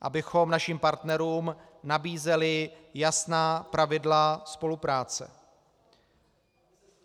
Abychom našim partnerům nabízeli jasná pravidla spolupráce.